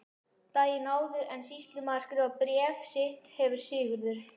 Daginn áður en sýslumaður skrifar bréf sitt hefur Sigurður